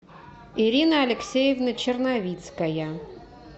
ирина алексеевна черновицкая